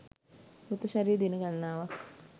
මෘත ශරීරය දින ගණනාවක්